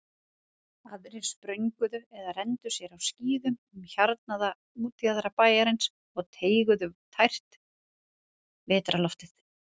Aðrir sprönguðu eða renndu sér á skíðum um hjarnaða útjaðra bæjarins og teyguðu tært vetrarloftið.